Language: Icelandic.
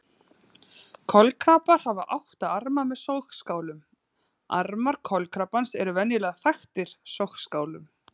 Kolkrabbar hafa átta arma með sogskálum Armar kolkrabbans eru venjulega þaktir sogskálum.